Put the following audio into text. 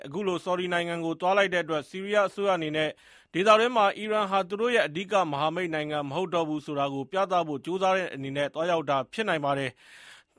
အခုလို ဆော်ဒီနိုင်ငံကို သွားလိုက်တဲ့အတွက် ဆီးရီးယားအစိုးရအနေနဲ့ ဒေသတွင်းမှာ အီရန်ဟာ သူတို့ရဲ့ အဓိကမဟာမိတ်နိုင်ငံ မဟုတ်တော့ဘူးဆိုတာကို ပြသဖို့ ကြိုးစားတဲ့အနေနဲ့ သွားရောက်တာ ဖြစ်နိုင်ပါတယ်။